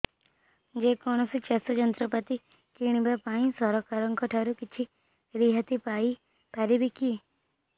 ଯେ କୌଣସି ଚାଷ ଯନ୍ତ୍ରପାତି କିଣିବା ପାଇଁ ସରକାରଙ୍କ ଠାରୁ କିଛି ରିହାତି ପାଇ ପାରିବା କି